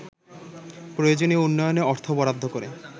প্রয়োজনীয় উন্নয়নে অর্থ বরাদ্দ করে